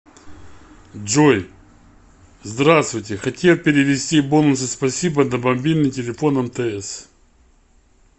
джой здравствуйте хотел перевести бонусы спасибо на мобильный телефон мтс